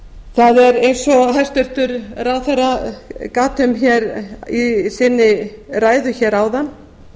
það er eins og hæstvirtur ráðherra gat um í sinni ræðu hér áðan